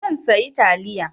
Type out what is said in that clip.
Zan sayi taliya.